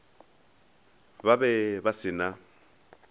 ba be ba se na